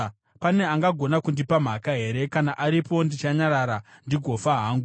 Pane angagona kundipa mhaka here? Kana aripo, ndichanyarara ndigofa hangu.